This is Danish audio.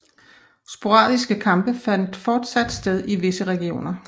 Sporadiske kampe fandt fortsat sted i visse regioner